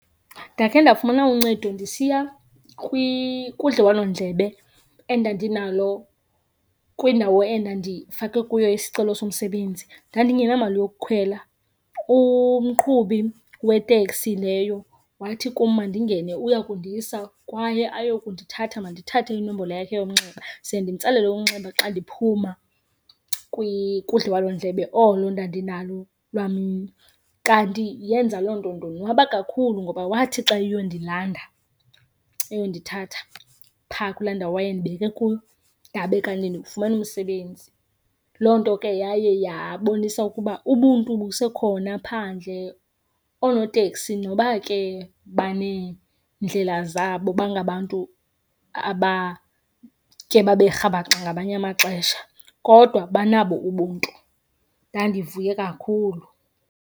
Ndakhe ndafumana uncedo ndisiya kudliwanondlebe endandinalo kwindawo endandifake kuyo isicelo somsebenzi. Ndandingenamali yokukhwela, umqhubi weteksi leyo wathi kum mandingene uya kundisa kwaye ayo kundithatha mandithathe inombolo yakhe yomnxeba ze ndimtsalele umnxeba xa ndiphuma kudliwanondlebe olo ndandinalo lwamini. Kanti yenza loo nto ndonwaba kakhulu ngoba wathi xa eyondilanda eyondithatha phaa kulaa ndawo wayendibeke kuyo, ndabe kanti ndiwufumene umsebenzi. Loo nto ke yaye yabonisa ukuba ubuntu busekhona phandle. Oonoteksi noba ke baneendlela zabo bangabantu abake babe rhabaxa ngamanye amaxesha, kodwa banabo ubuntu, ndandivuye kakhulu.